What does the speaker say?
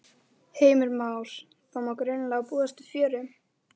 Heimir Már: Það má greinilega búast við fjöri?